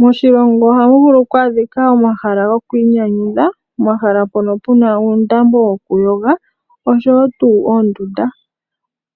Moshilongo ohamu vulu oku adhika omahala gokwiinyanyudha, momahala mpono pu na uundambo woku yoga osho wo tuu oondunda.